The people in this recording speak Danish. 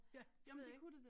Ja det ved jeg ikke